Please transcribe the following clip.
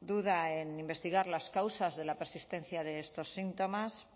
duda en investigar las causas de la persistencia de estos síntomas